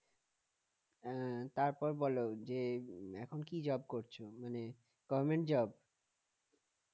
হ্যাঁ তার পর বলো যে এখন কি job করছো? মানে government job